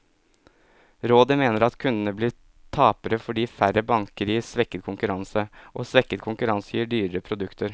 Rådet mener at kundene blir tapere, fordi færre banker gir svekket konkurranse, og svekket konkurranse gir dyrere produkter.